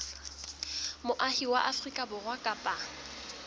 moahi wa afrika borwa kapa